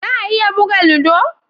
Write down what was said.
Za a iya buga ludo?